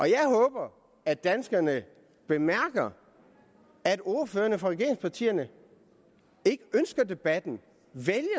jeg håber at danskerne bemærker at ordførerne for regeringspartierne ikke ønsker debatten